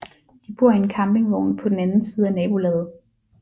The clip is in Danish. De bor i en campingvogn på den anden siden af nabolaget